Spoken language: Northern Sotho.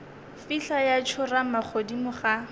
fihla ya tsorama godimo ga